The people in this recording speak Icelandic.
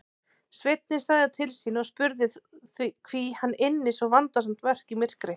Sveinninn sagði til sín og spurði hví hann ynni svo vandasamt verk í myrkri.